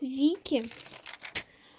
вики